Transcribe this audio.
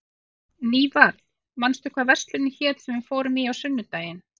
Nývarð, manstu hvað verslunin hét sem við fórum í á sunnudaginn?